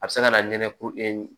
A bɛ se ka na nɛnɛ ku